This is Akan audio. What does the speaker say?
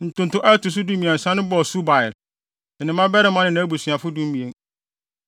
Ntonto a ɛto so dumiɛnsa no bɔɔ Subael, ne ne mmabarima ne nʼabusuafo (12)